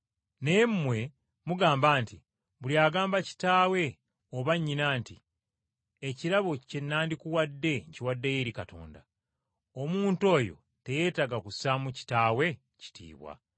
Naye mmwe mugamba nti, Buli agamba kitaawe oba nnyina nti, ‘Ekirabo kye nandikuwadde nkiwaddeyo eri Katonda,’ omuntu oyo teyeetaaga kussaamu kitaawe kitiibwa.